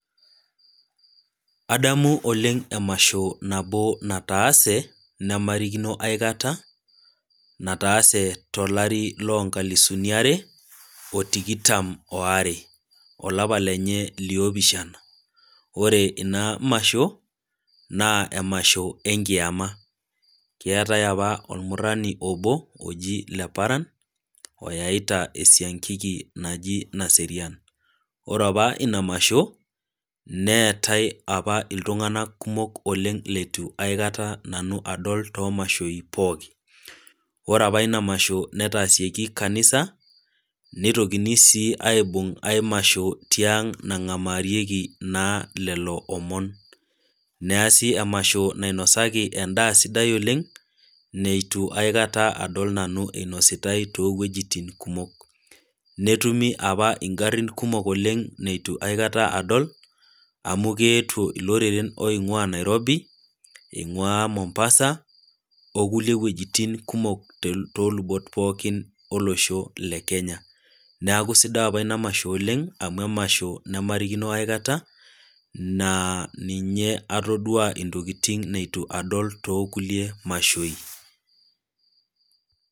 Adamu oleng' emasho nataase, nemairikino aikata, nataase tolari loo nkalisuni are, o tikitam o are, olapa lenye le opishana. Ore ina masho, naa emasho enkiama, keatai opa olmurani obo, oji Leparan, oyaita esiankiki naji Naserian. Ore opa ina masho neatai opa iltung'ana kumok oleng' leitu aikata nanu adol to imashoi pooki. Ore opa ina masho netaasieki kanisa, neitokini sii aibung' ai masho tiang', nang'amarieki naa lelo omon, neasi emasho nainosaki endaa sidai oleng' neiitu aikata adol nanu einositai toowuejitin kumok. Neetumi appa ing'arin kumok neitu opa neitu aikata adol, amu keetwo iloreren oing'waa Nairobi, eing'uaa Mombasa, o kulie wuejitin kumok oo lubbot pookin ollosho le Kenya. Neaku sidai ina masho opa oleng' amu emasho nemairikino aikata, naa ninye atodua intokin neiitu adol too kulie mashoi.